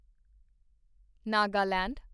Nagaland